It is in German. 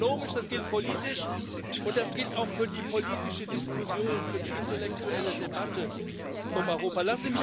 Das gilt ökonomisch, das gilt politisch, und das gilt auch für die politische Diskussion, für die intellektuelle Debatte um Europa.